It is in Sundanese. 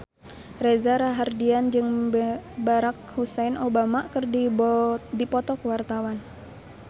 Reza Rahardian jeung Barack Hussein Obama keur dipoto ku wartawan